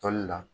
Tɔli la